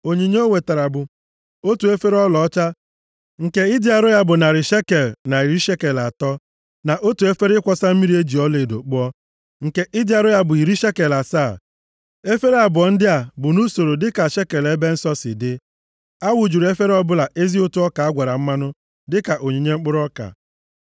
Onyinye o wetara bụ: otu efere ọlaọcha nke ịdị arọ ya bụ narị shekel na iri shekel atọ, na otu efere ịkwọsa mmiri e ji ọlaedo kpụọ, nke ịdị arọ ya bụ iri shekel asaa, efere abụọ ndị a bụ nʼusoro dịka shekel ebe nsọ si dị. A wụjuru efere ọbụla ezi ụtụ ọka a gwara mmanụ dịka onyinye mkpụrụ ọka.